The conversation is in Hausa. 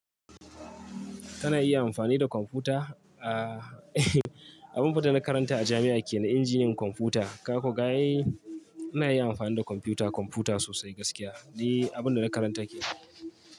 Kana iya amfani da kwamfuta? Aaa abin da na karanta a jami'a kenan Injiniyan kwamfuta. Ka ko ga ai, ina yin amfani da kwamfuta, kwamfuta sosai gaskiya. Ni abin da na karanta yake.